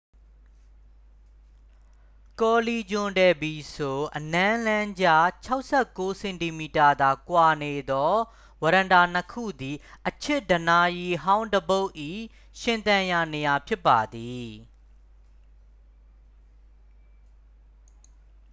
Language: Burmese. ကောလီဂျွန် ဒယ် ဘီစို အနမ်းလမ်းကြား။ ၆၉ စင်တီမီတာသာကွာနေသော ဝရန်တာနှစ်ခုသည် အချစ်ဒဏ္ဍာရီဟောင်းတစ်ပုဒ်၏ ရှင်သန်ရာနေရာဖြစ်ပါသည်။